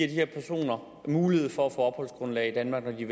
de her personer mulighed for at få opholdsgrundlag i danmark når de